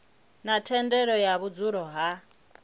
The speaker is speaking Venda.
na thendelo ya vhudzulo ha